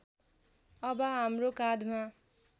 अब हाम्रो काँधमा